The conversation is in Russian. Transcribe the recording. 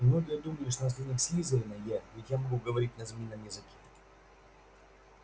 и многие думали что наследник слизерина я ведь я могу говорить на змеином языке